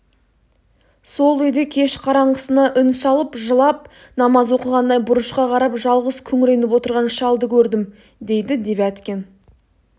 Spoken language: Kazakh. сол үйде кеш қараңғысына үн салып жылап намаз оқығандай бұрышқа қарап жалғыз күңіреніп отырған шалды көрдім дейді девяткин